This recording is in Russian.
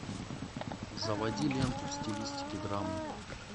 заводи ленту в стилистике драмы